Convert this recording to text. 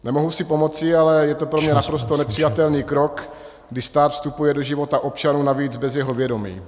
Nemohu si pomoci, ale je to pro mě naprosto nepřijatelný krok, kdy stát vstupuje do života občanů, navíc bez jejich vědomí.